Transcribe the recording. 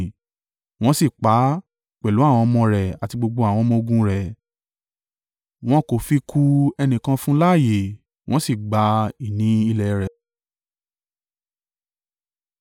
Wọ́n sì pa á, pẹ̀lú àwọn ọmọ rẹ̀ àti gbogbo àwọn ọmọ-ogun rẹ̀, wọn kò fi ku ẹnìkan fún un láàyè. Wọ́n sì gba ìní ilẹ̀ rẹ̀.